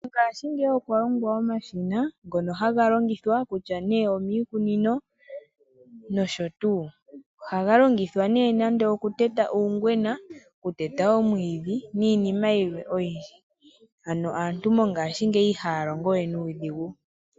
Mongashingeyi okwa longwa omashina ngono haga longithwa kutya nee omiikunino nosho tuu. Ohaga longithwa nee nande okuteta uungwena, okuteta omwiidhi niinima yilwe oyindji. Ano aantu mongashingeyi ihaya longo we nuudhigu.